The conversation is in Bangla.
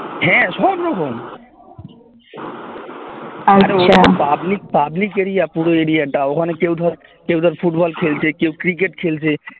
হ্যাঁ সবরকম আরে ওটা তো public public area পুরো area টা ওখানে কেউ ধর কেউ ধর ফুটবল খেলছে কেউ ক্রিকেট খেলছে